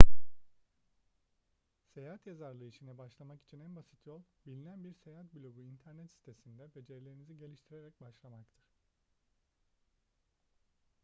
seyahat yazarlığı işine başlamak için en basit yol bilinen bir seyahat blogu internet sitesinde becerilerinizi geliştirerek başlamaktır